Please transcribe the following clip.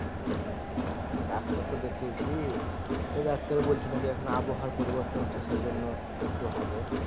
হা doctor তো দেখিয়েছি তো ডাক্তার এ বলছে নাকিএখন আবহাওয়া পরিবর্তন হচ্ছে সেই জন্য একটু একটু হবে।